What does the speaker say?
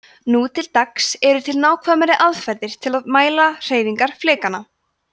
nú til dags eru til nákvæmari aðferðir til að mæla hreyfingar flekanna